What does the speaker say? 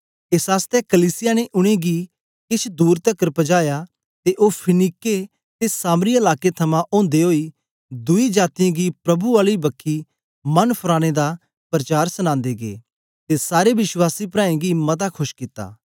एस आसतै कलीसिया ने उनेंगी केछ दूर तकर पजाया ते ओ फीनीके ते सामरिया लाकें थमां ओदे ओई दुई जातीयें गी प्रभु आली बखी मन फराने दा परचार सनांदे गै ते सारे विश्वासी प्राऐं गी मता खोश कित्ता